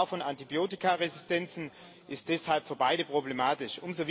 Die Gefahr von Antibiotikaresistenzen ist deshalb für beide problematisch.